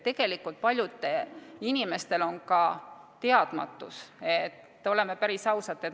Tegelikult paljud inimesed on teadmatuses, oleme päris ausad.